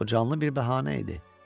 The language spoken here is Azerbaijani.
O canlı bir bəhanə idi.